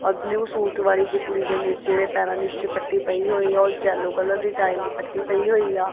ਔਰ blue suit ਵਾਰੀ ਜਿਹੀ ਕੁੜੀ ਦੇ ਨੀਚੇ ਜਿਹੜੇ ਪੈਰਾਂ ਦੀ ਝਪੱਟੀ ਪਈ ਹੋਈ ਹੈ ਓਹ ਜੈਲੋ ਕਲਰ ਦੀ ਟਾਈਲ ਦੀ ਪੱਟੀ ਪਈ ਹੋਈ ਆ।